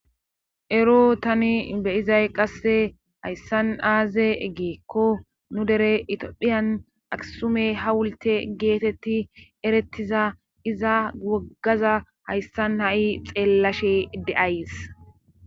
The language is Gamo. Ero tani beyizay qasse hayssan aaze eggeekko nu dere itophiyan aksume ha wulte geetetti erettiza iza woggaza hayssan ha'i xeellashe de'ays.